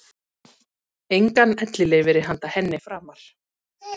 Engan ellilífeyri handa henni framar.